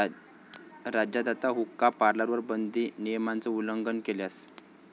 राज्यात आता हुक्का पार्लरवर बंदी, नियमांचं उल्लंघन केल्यास...